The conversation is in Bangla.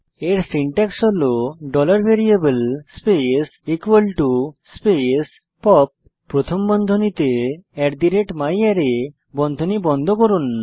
এর সিনট্যাক্স হল variable স্পেস স্পেস পপ প্রথম বন্ধনীতে myArray বন্ধনী বন্ধ করুন